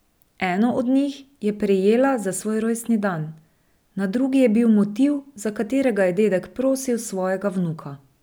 Eno od njih je prejela za svoj rojstni dan, na drugi je bil motiv, za katerega je dedek prosil svojega vnuka.